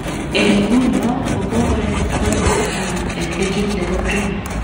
Eng inguno ko kokorek akoi number taman eng ligit nebo premia